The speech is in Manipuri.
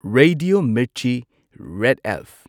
Radio Mirchi, red F.